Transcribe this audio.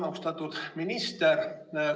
Austatud minister!